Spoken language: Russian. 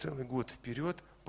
целый год вперёд